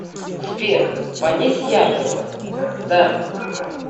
сбер понизь яркость да